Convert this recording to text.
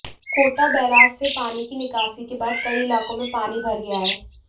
Kota barrage से पानी की निकासी के बाद कई इलाकों में पानी भर गया है